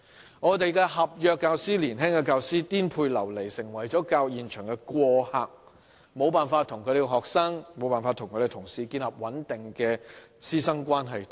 年輕的合約教師顛沛流離，成為了教育現場的過客，無法與學生和同事建立穩定的關係。